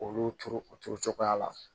Olu turu o turu cogoya la